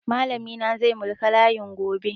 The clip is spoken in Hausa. Malami na zai mulki layin gobe.